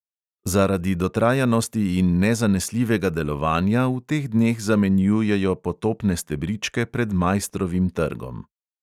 Zaradi dotrajanosti in nezanesljivega delovanja v teh dneh zamenjujo potopne stebričke pred maistrovim trgom.